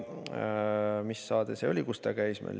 Mis saade see oli, kus ta käis?